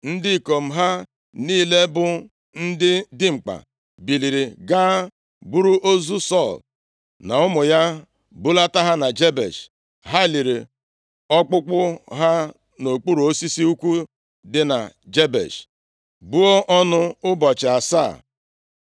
ndị ikom ha niile bụ ndị dimkpa, biliri gaa buru ozu Sọl na ụmụ ya, bulata ha na Jebesh. Ha liri ọkpụkpụ ha nʼokpuru osisi ukwu dị na Jebesh, buo ọnụ ụbọchị asaa.